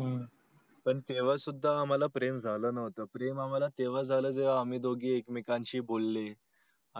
हम्म पण तेव्हा सुद्धा आम्हाला प्रेम झालं नव्हतं प्रेम आम्हला तेव्हा झालं जेव्हा अमी दोघे एक मेकांना शी बोले